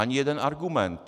Ani jeden argument.